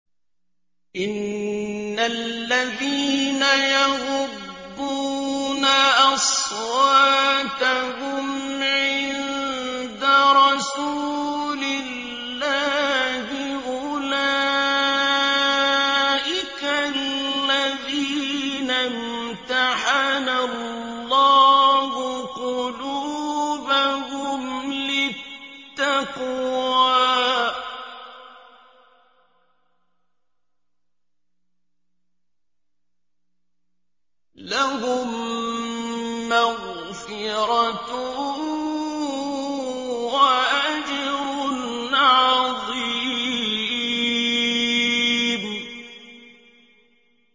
إِنَّ الَّذِينَ يَغُضُّونَ أَصْوَاتَهُمْ عِندَ رَسُولِ اللَّهِ أُولَٰئِكَ الَّذِينَ امْتَحَنَ اللَّهُ قُلُوبَهُمْ لِلتَّقْوَىٰ ۚ لَهُم مَّغْفِرَةٌ وَأَجْرٌ عَظِيمٌ